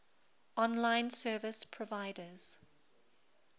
online service providers